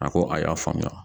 A ko a y'a faamuya